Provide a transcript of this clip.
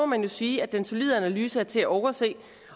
man sige at den solide analyse er til at overse